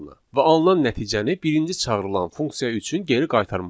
Və alınan nəticəni birinci çağırılan funksiya üçün geri qaytarmalıdır.